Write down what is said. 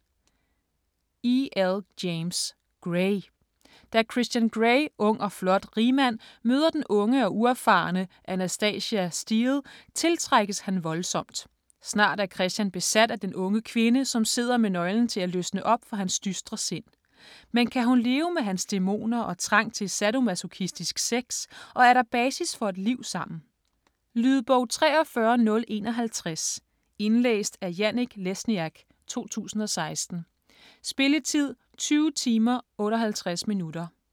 James, E. L.: Grey Da Christian Grey, ung og flot rigmand, møder den unge og uerfarne Anastasia Steele, tiltrækkes han voldsomt. Snart er Christian besat af den unge kvinde, som sidder med nøglen til at løsne op for hans dystre sind. Men kan hun leve med hans dæmoner og trang til sadomasochistisk sex og er der basis for et liv sammen? Lydbog 43051 Indlæst af Janek Lesniak, 2016. Spilletid: 20 timer, 58 minutter.